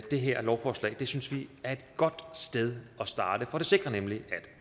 det her lovforslag synes vi er et godt sted at starte for det sikrer nemlig at